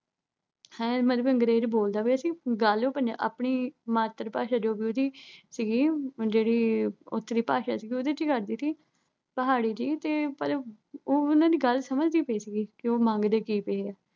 ਹੈ ਮਤਲਬ ਅੰਗਰੇਜ਼ ਬੋਲਦਾ ਪਿਆ ਸੀ ਤੇ ਗੱਲ ਉਹ ਪੰਜ ਅਹ ਆਪਣੀ ਮਾਤਰ-ਭਾਸ਼ਾ, ਜੋ ਵੀ ਉਹਦੀ ਸੀਗੀ ਜਿਹੜੀ ਉਥੇ ਦੀ ਭਾਸ਼ੀ ਸੀਗੀ ਉਹਦੇ ਚ ਹੀ ਕਰਦੀ ਸੀ। ਪਹਾੜੀ ਜੀ ਤੇ ਪਰ ਉਹ ਉਨ੍ਹਾਂ ਦੀ ਗੱਲ ਸਮਝਦੀ ਪਈ ਸੀਗੀ ਵੀ ਉਹ ਕੀ ਮੰਗਦੇ ਕੀ ਸੀਗੇ।